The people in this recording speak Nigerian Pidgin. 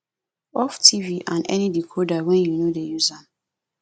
off tv and any decoder wen yu no dey use am